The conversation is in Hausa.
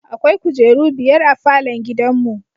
Akwai kujeru biyar a falon gidanmu.